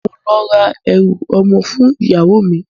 Mo n lọ ra ẹrú ọmọ fún ìyáwo mi.